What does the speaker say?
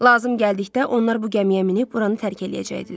Lazım gəldikdə onlar bu gəmiyə minib buranı tərk eləyəcəkdilər.